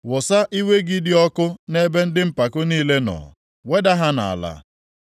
Wụsa iwe gị dị ọkụ nʼebe ndị mpako niile nọ, weda ha nʼala,